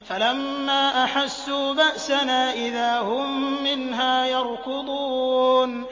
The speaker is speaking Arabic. فَلَمَّا أَحَسُّوا بَأْسَنَا إِذَا هُم مِّنْهَا يَرْكُضُونَ